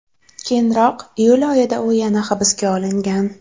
Keyinroq, iyul oyida u yana hibsga olingan.